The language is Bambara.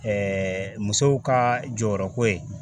musow ka jɔyɔrɔko ye.